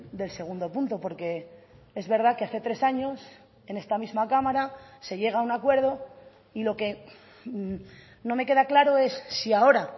del segundo punto porque es verdad que hace tres años en esta misma cámara se llega a un acuerdo y lo que no me queda claro es si ahora